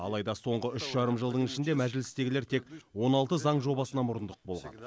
алайда соңғы үш жарым жылдың ішінде мәжілістегілер тек он алты заң жобасына мұрындық болған